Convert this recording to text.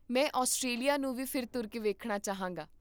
ਮੈਂ ਆਸਟ੍ਰੇਲੀਆ ਨੂੰ ਵੀ ਫਿਰ ਤੁਰ ਕੇ ਵੇਖਣਾ ਚਾਹਾਂਗਾ